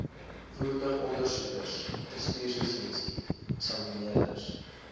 voertuigondersoekers bestuurslisensie eksamineerders